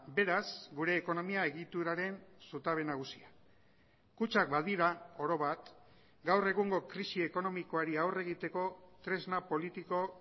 beraz gure ekonomia egituraren zutabe nagusia kutxak badira oro bat gaur egungo krisi ekonomikoari aurre egiteko tresna politiko